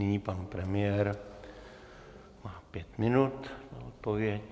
Nyní pan premiér má pět minut na odpověď.